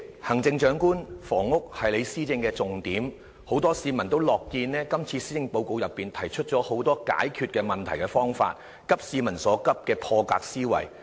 行政長官，房屋是你施政的重點，很多市民也樂見這次施政報告提出了很多解決問題的方法，急市民所急的破格思維。